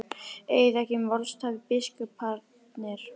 Eigið þið ekki í málastappi biskuparnir?